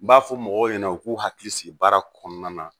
N b'a fɔ mɔgɔw ɲɛna u k'u hakili sigi baara kɔnɔna na